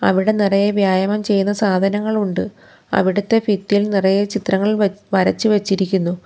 അവിടെ നിറയെ വ്യായാമം ചെയ്യുന്ന സാധനങ്ങൾ ഉണ്ട് അവിടത്തെ ഫിത്തിയിൽ നിറയെ ചിത്രങ്ങൾ വ വരച്ച് വച്ചിരിക്കുന്നു.